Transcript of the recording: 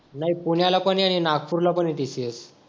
नाही पुण्याला पण आहे आणि नागपूरला पण आहे TCS